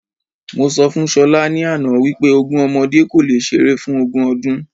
Mo sọ fún Ṣọlá ni àná wípé ogún ọmọdé kò le ṣeré fún ogún ọdún